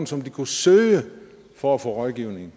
som de kunne søge for at få rådgivning